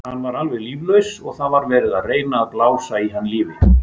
Hann var alveg líflaus og það var verið að reyna að blása í hann lífi.